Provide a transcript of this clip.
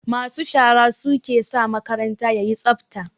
Masu shara su ke sa makaranta yayi tsafta